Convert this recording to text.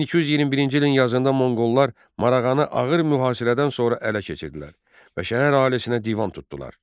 1221-ci ilin yazında Monqollar Marağanı ağır mühasirədən sonra ələ keçirdilər və şəhər əhalisinə divan tutdular.